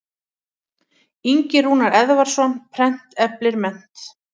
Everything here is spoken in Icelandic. Ingi Rúnar Eðvarðsson, Prent eflir mennt.